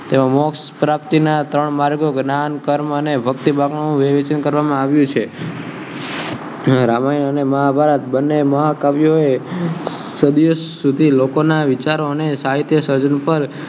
મોક્ષ પ્રાપ્તિ ના ત્રણ માગો વિવ્ચન કર્વમ આવ્યુ છેરામાયન અંને મહાભારત બન્ને મહા કવિઓ ઍ સદિયો સુદી લોકો ના વીચારો ને સહિત્ય સર્જન પર